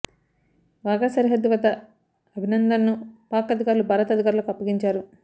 వాఘా సరిహద్దు వద్ద అభినందన్ను పాక్ అధికారులు భారత్ అధికారులకు అప్పగించారు